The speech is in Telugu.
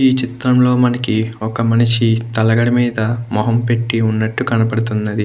ఈ చిత్రంలో మనకి ఒక మనిషి తలగడ మీద మొహం పెట్టి ఉన్నట్టు కనపడుతున్నది.